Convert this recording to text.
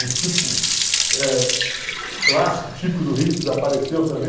Um tipo eh clássico, típico do Rio, que desapareceu também.